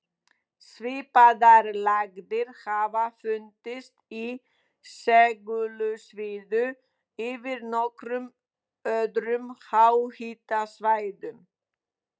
Svipaðar lægðir hafa fundist í segulsviðinu yfir nokkrum öðrum háhitasvæðum.